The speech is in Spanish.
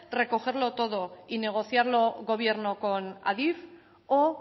recogerlo todo y negociarlo gobierno con adif o